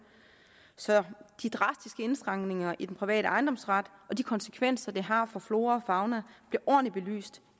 så de drastiske indskrænkninger i den private ejendomsret og de konsekvenser det har for flora og fauna bliver ordentligt belyst